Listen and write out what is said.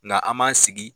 Nka an m'an sigi